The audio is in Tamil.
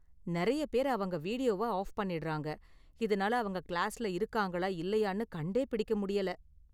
நிறைய பேர் அவங்க வீடியோவ ஆஃப் பண்ணிடுறாங்க, இதனால அவங்க கிளாஸ்ல இருக்காங்களா இல்லையான்னு கண்டே பிடிக்க முடியல.